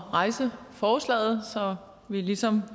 at rejse forslaget så vi ligesom